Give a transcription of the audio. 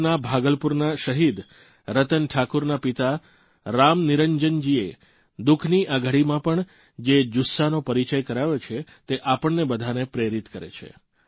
બિહારના ભાગલપુરના શહીદ રતન ઠાકુરના પિતા રામનિરંનજીએ દુઃખની આ ઘડીમાં પણ જે જુસ્સાનો પરિચય કરાવ્યો છે તે આપણને બધાને પ્રેરિત કરે છે